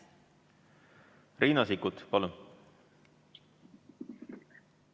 Riina Sikkut, palun!